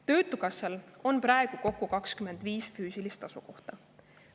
Töötukassal on praegu kokku 25 füüsilist asukohta.